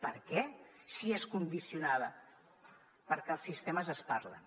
per què si és condicionada perquè els sistemes es parlen